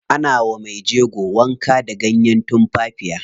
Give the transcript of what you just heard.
Ana wa mejego wanka da ganyen tumfafiya.